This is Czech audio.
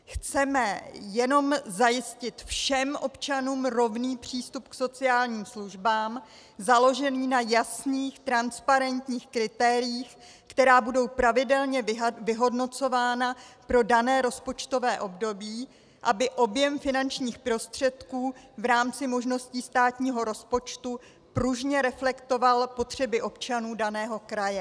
Chceme jenom zajistit všem občanům rovný přístup k sociálním službám, založený na jasných transparentních kritériích, která budou pravidelně vyhodnocována pro dané rozpočtové období, aby objem finančních prostředků v rámci možností státního rozpočtu pružně reflektoval potřeby občanů daného kraje.